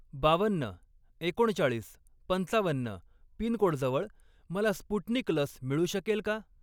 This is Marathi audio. बावन्न, एकोणचाळीस, पंचावन्न पिनकोडजवळ मला स्पुटनिक लस मिळू शकेल का?